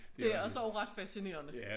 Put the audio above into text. Det også ret fascinerende